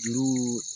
Juru